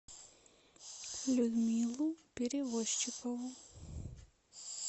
людмилу перевозчикову